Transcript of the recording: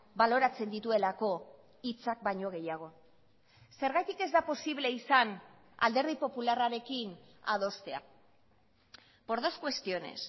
baloratzen dituelako hitzak baino gehiago zergatik ez da posible izan alderdi popularrarekin adostea por dos cuestiones